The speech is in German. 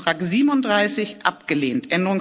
Änderungsantrag 37 abgelehnt